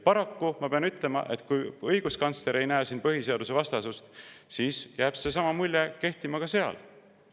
Paraku ma pean ütlema, et kui õiguskantsler ei näe siin põhiseadusvastasust, siis jääb seesama mulje kehtima ka selles osas.